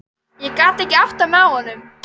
Ég gat ekki áttað mig á honum.